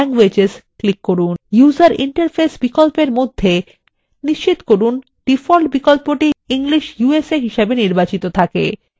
user interface বিকল্পের মধ্যে নিশ্চিত করুন ডিফল্ট বিকল্পটি english usa হিসাবে নির্বাচিত থাকে